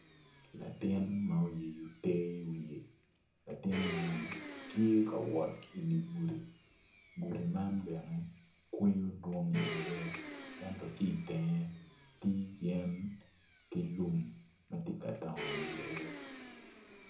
Latin ma oyeyo te i wiye latin man ti kawot i di gudi gudi man bene kweyo dwong iye ento ki itenge ti yen ki lum ma ti ka dongo iye